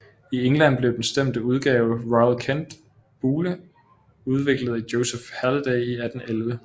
I England blev den stemte udgave Royal Kent bugle udviklet af Joseph Halliday i 1811